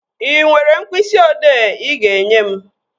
Ị nwere mkpịsị ị odee ị ga-enye m?